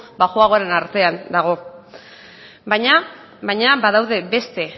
baxuagoren artean dago baina badaude beste